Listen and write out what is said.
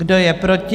Kdo je proti?